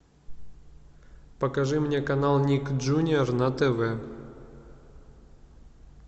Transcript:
покажи мне канал ник джуниор на тв